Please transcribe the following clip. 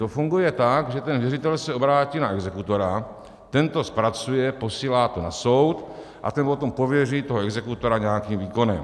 To funguje tak, že ten věřitel se obrátí na exekutora, ten to zpracuje, posílá to na soud a ten potom pověří toho exekutora nějakým výkonem.